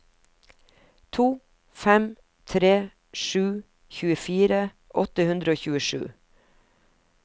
to fem tre sju tjuefire åtte hundre og tjuesju